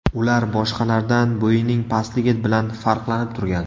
Ular boshqalardan bo‘yining pastligi bilan farqlanib turgan.